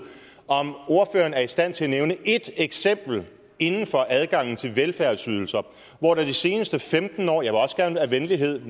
om ordføreren er i stand til at nævne et eksempel inden for adgangen til velfærdsydelser hvor det de seneste femten år vil også gerne af venlighed